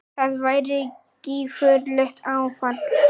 Það væri gífurlegt áfall.